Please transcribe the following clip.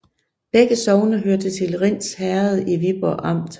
Begge sogne hørte til Rinds Herred i Viborg Amt